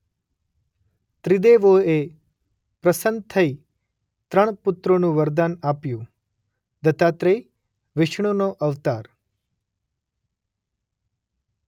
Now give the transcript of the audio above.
ત્રિદેવોએ પસન્ન થઈ ત્રણ પુત્રોનું વરદાન આપ્યું; દત્તાત્રેય વિષ્ણુનો અવતાર